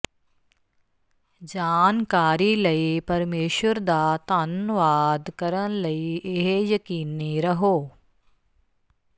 ਜਾਣਕਾਰੀ ਲਈ ਪਰਮੇਸ਼ੁਰ ਦਾ ਧੰਨਵਾਦ ਕਰਨ ਲਈ ਇਹ ਯਕੀਨੀ ਰਹੋ